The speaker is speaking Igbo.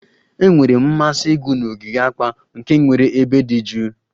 Enwere m mmasị ịgụ na ogige akpa, nke nwere ebe dị jụụ